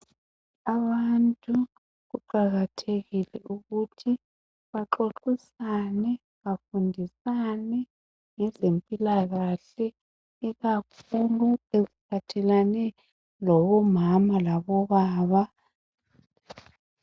Abantu kuqakathekile ukuthi baxoxisane, bafundisane ngezempilakahle ikakhulu okuphathelane labomama labobaba